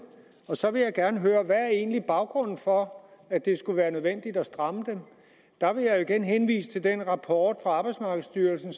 så vil jeg gerne høre hvad er egentlig baggrunden for at det skulle være nødvendigt at stramme dem der vil jeg igen henvise til den rapport fra arbejdsmarkedsstyrelsen